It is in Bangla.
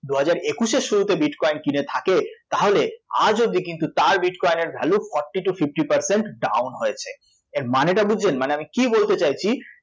দু হাজার একুশের শুরুতে bitcoin কিনে থাকে তাহলে আজ অবধি কিন্তু তার bitcoin এর value forty to fifty percent down হয়েছে, এর মানেটা বুঝছেন? মানে আমি কী বলতে চাইছি